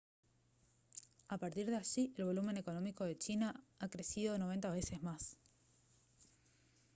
a partir de allí el volumen económico de china ha crecido 90 veces más